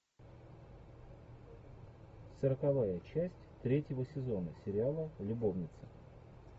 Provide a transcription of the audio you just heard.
сороковая часть третьего сезона сериала любовницы